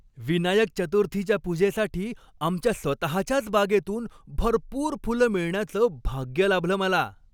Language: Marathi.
विनायक चतुर्थीच्या पूजेसाठी आमच्या स्वतःच्याच बागेतून भरपूर फुलं मिळण्याचं भाग्य लाभलं मला.